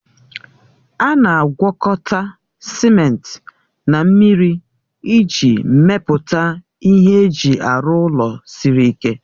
A na-agwọkọta simenti na mmiri iji mepụta ihe eji arụ ụlọ siri ike